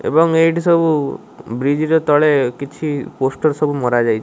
ଏବଂ ଏଇଠି ସବୁ ବ୍ରିଜ୍ ର ତଳେ କିଛି ପୋଷ୍ଟର ସବୁ ମରାଯାଇ --